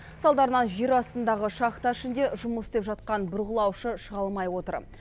салдарынан жер астындағы шахта ішінде жұмыс істеп жатқан бұрғылаушы шыға алмай отыр